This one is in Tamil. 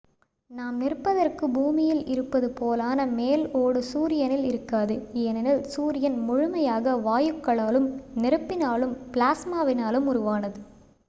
நாம் நிற்பதற்கு பூமியில் இருப்பது போலான மேல் ஓடு சூரியனில் இருக்காது ஏனெனில் சூரியன் முழுமையாக வாயுக்களாலும் நெருப்பினாலும் பிளாஸ்மாவினாலும் உருவானது